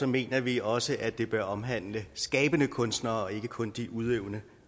mener vi også at det bør omhandle skabende kunstnere og ikke kun de udøvende